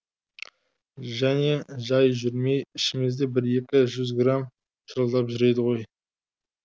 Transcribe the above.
және жай жүрмей ішіміз де бір екі жүз грамм шырылдап жүреді ғой